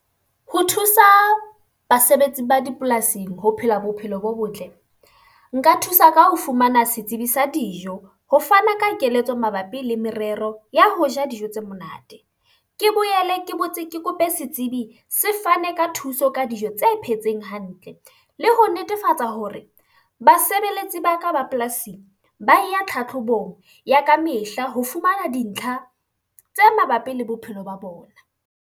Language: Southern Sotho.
Ho thusa basebetsi ba dipolasing ho phela bophelo bo botle. Nka thusa ka ho fumana setsibi sa dijo, ho fana ka keletso mabapi le merero ya ho ja dijo tse monate. Ke boele ke botse ke kope setsebi se fane ka thuso ka dijo tse phetseng hantle. Le ho netefatsa hore basebeletsi ba ka ba polasi ba ya tlhatlhobong ya ka mehla ho fumana dintlha tse mabapi le bophelo ba bona.